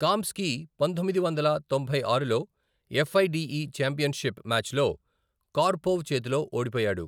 కామ్స్కీ పంతొమ్మిది వందల తొంభై ఆరు ఎఫ్ఐడిఈ ఛాంపియన్షిప్ మ్యాచ్లో కార్పొవ్ చేతిలో ఓడిపోయాడు.